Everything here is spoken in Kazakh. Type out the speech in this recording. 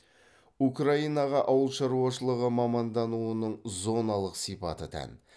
украинаға ауыл шаруашылығы мамандануының зоналық сипаты тән